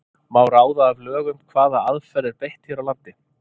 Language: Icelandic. Má ráða af lögum hvaða aðferð er beitt hér á landi?